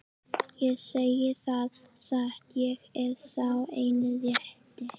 Ég segi það satt, ég er sá eini rétti.